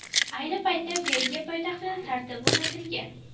Ayni paytda Belgiya poytaxtida tartib o‘rnatilgan.